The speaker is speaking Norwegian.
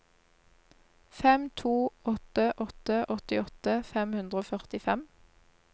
fem to åtte åtte åttiåtte fem hundre og førtifem